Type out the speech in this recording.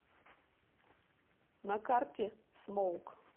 на карте смоук